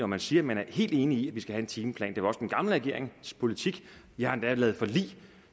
man siger at man er helt enig i at vi skal have en timeplan det var også den gamle regerings politik jeg har endda lavet forlig